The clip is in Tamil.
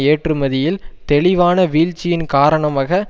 ஏற்றுமதியில் தெளிவான வீழ்ச்சியின் காரணாமக